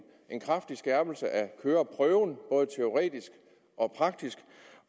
en kraftig skærpelse af køreprøven både teoretisk og praktisk